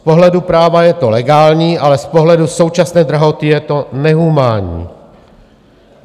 Z pohledu práva je to legální, ale z pohledu současné drahoty je to nehumánní.